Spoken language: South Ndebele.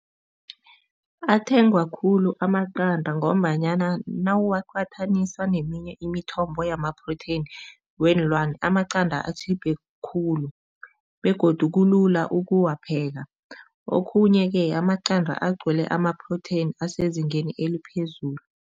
Athengwa khulu amaqanda ngombanyana nawuwaqathanisa neminye imithombo yama-protein weenlwane, amaqanda atjhiphe khulu begodu kulula ukuwapheka. Okhunye-ke amaqanda agcwele amaprotheni asezingeni eliphezulu.